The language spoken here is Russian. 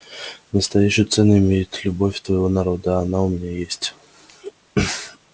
настоящую цену имеет только любовь твоего народа а она у меня есть